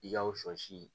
I ka o sɔ si